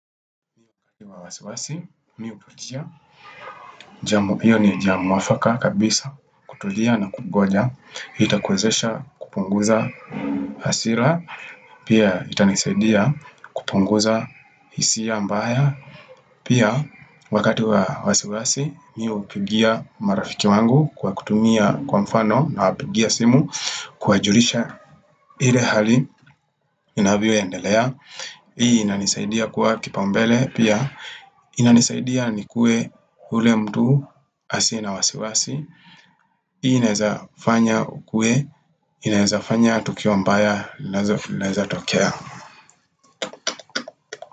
Hiyo wa wasiwasi, mimi hutulia. Hiyo ni jambo mwafaka kabisa kutulia na kungoja. Itakwezesha kupunguza hasira. Pia itanisaidia kupunguza hisia mbaya. Pia wakati wa wasiwasi mimi hupigia marafiki wangu kwa kutumia kwa mfano nawapigia simu kuwajulisha ile hali inavyoendelea. Hii inanisadia kuwa kipaumbele pia inanisaidia nikuwe ule mtu asiye na wasiwasi hii inawezafanya ukuwe inaweza fanya tukio mbaya linaweza tokea.